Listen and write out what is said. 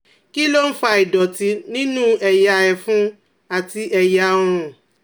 Kí ló ń fa ìdọ̀tí nínú ẹ̀yà ẹ̀fun àti ẹ̀yà ọrùn?